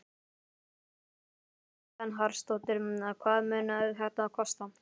Berghildur Erla Bernharðsdóttir: Hvað mun þetta kosta?